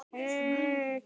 Konan hló.